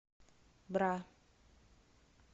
бра